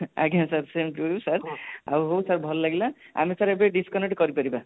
ଆଜ୍ଞା sir same to you sirହାଉ sir ଭଲ ଲାଗିଲା ଆମେ sir ଏବେ ଦେଖି ପାରିବା